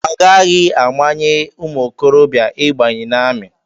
Agaghị amanye ụmụ okorobịa ịbanye n'amị.